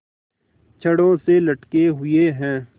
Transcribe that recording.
छड़ों से लटके हुए हैं